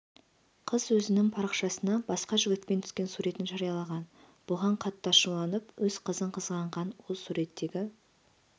қыз өзінің парақшасына басқа жігітпен түскен суретін жариялаған бұған қатты ашуланып өз қызын қызғанған ол суреттегі